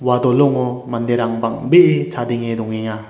dolongo manderang bang·bee chadenge dongenga.